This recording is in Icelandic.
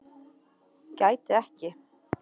Gæti ekki